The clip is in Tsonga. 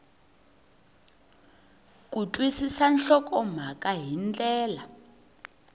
ku twisisa nhlokomhaka hi ndlela